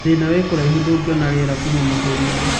Thĩna wĩ kũraihu ndũgiona rĩera kuma mahũrinĩ.